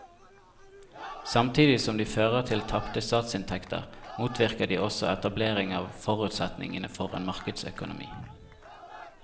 Samtidig som de fører til tapte statsinntekter motvirker de også etablering av forutsetningene for en markedsøkonomi.